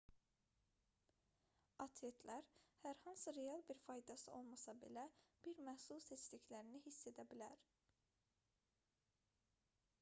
atletlər hər hansı real bir faydası olmasa belə bir məhsul seçdiklərini hiss edə bilər